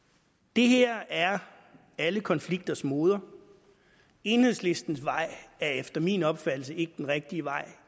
det her er alle konflikters moder enhedslistens vej er efter min opfattelse ikke den rigtige vej